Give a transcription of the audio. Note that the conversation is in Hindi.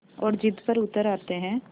और ज़िद पर उतर आते हैं